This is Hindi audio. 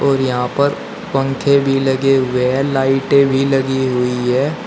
और यहां पर पंखे भी लगे हुए हैं लाइटें भी लगी हुई हैं।